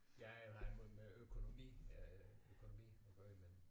Ja jeg havde med økonomi øh økonomi at gøre men